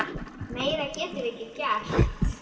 Meira getum við ekki gert.